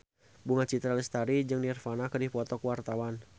Bunga Citra Lestari jeung Nirvana keur dipoto ku wartawan